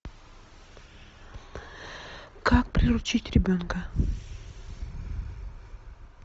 как приручить ребенка